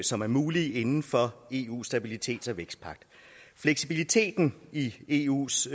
som er mulige inden for eus stabilitets og vækstpagt fleksibiliteten i eus